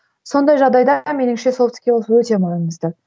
сондай жағдайда меніңше софт скилс өте маңызды